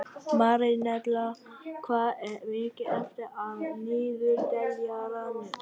Marínella, hvað er mikið eftir af niðurteljaranum?